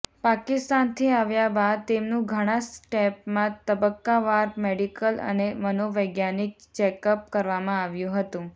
પાકિસ્તાનથી આવ્યા બાદ તેમનું ઘણા સ્ટેપમાં તબક્કાવાર મેડિકલ અને મનોવૈજ્ઞાનિક ચેકઅપ કરવામાં આવ્યું હતું